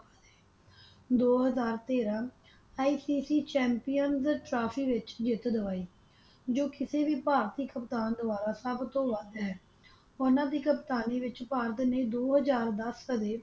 ਦੋ ਹਜ਼ਾਰ ਤੇਰਾਂ ICC champions trophy ਵਿੱਚ ਜਿੱਤ ਦਿਵਾਈ ਜੋ ਕਿਸੇ ਵੀ ਭਾਰਤੀ ਕਪਤਾਨ ਦੁਆਰਾ ਸਭ ਤੋਂ ਵਧ ਹੈ ਉਨ੍ਹਾਂ ਦੀ ਕਪਤਾਨੀ ਵਿੱਚ ਭਾਰਤ ਨੇ ਦੋ ਹਜ਼ਾਰ ਦਸ ਸਮੇਤ।